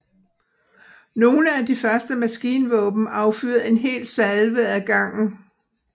Nogle af de første maskinvåben affyrede en hel salve ad gangen